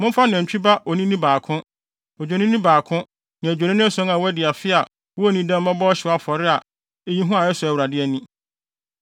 Momfa nantwi ba onini baako, Odwennini baako ne adwennini ason a wɔadi afe a wonnii dɛm mmɛbɔ ɔhyew afɔre a eyi hua a ɛsɔ Awurade ani.